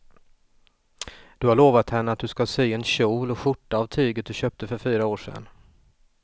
Du har lovat henne att du ska sy en kjol och skjorta av tyget du köpte för fyra år sedan.